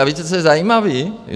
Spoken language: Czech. A víte, co je zajímavé?